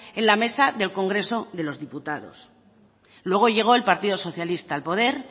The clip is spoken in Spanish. en la mesa del congreso de los diputados luego llegó el partido socialista al poder